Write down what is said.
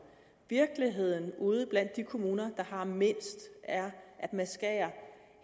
virkeligheden ude blandt de kommuner der har mindst er at man skærer